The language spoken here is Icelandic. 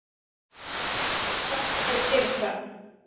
Hvað ertu að fara að gera þar?